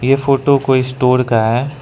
ये फोटो कोई स्टोर का है।